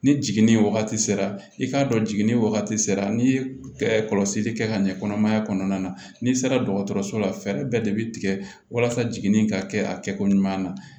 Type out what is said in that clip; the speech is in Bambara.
Ni jiginni wagati sera i k'a dɔn jiginni wagati sera n'i ye kɔlɔsili kɛ ka ɲɛ kɔnɔmaya kɔnɔna na n'i sera dɔgɔtɔrɔso la fɛɛrɛ bɛɛ de bi tigɛ walasa jiginni in ka kɛ a kɛko ɲuman na